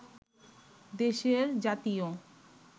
দেশের জাতীয়